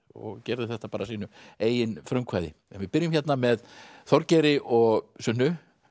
og gerði þetta af sínu eigin frumkvæði en við byrjum hérna með Þorgeiri og Sunnu